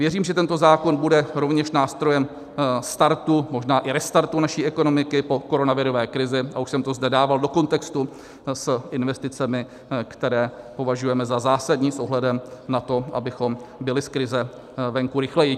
Věřím, že tento zákon bude rovněž nástrojem startu, možná i restartu naší ekonomiky po koronavirové krizi, a už jsem to zde dával do kontextu s investicemi, které považujeme za zásadní s ohledem na to, abychom byli z krize venku rychleji.